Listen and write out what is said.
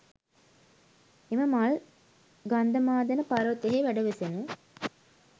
එම මල් ගන්ධමාදන පර්වතයෙහි වැඩවෙසෙන